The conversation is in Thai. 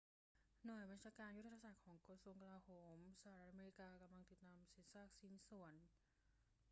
หน่วยบัญชาการยุทธศาสตร์ของกระทรวงกลาโหมสหรัฐอเมริกากำลังติดตามเศษซากชิ้นส่วน